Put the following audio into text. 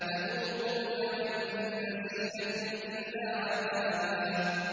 فَذُوقُوا فَلَن نَّزِيدَكُمْ إِلَّا عَذَابًا